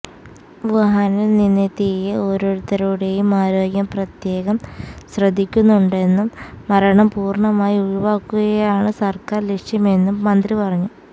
വുഹാനില് നിന്നെത്തിയ ഓരോരുത്തരുടെയും ആരോഗ്യം പ്രത്യേകം ശ്രദ്ധിക്കുന്നുണ്ടെന്നും മരണം പൂര്ണമായി ഒഴിവാക്കുകയാണ് സര്ക്കാര് ലക്ഷ്യമെന്നും മന്ത്രി പറഞ്ഞു